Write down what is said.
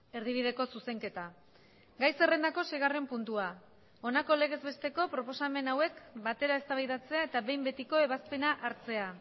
erdibideko zuzenketa gai zerrendako seigarren puntua honako legez besteko proposamen hauek batera eztabaidatzea eta behin betiko ebazpena hartzea